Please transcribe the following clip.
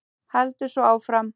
Heldur svo áfram: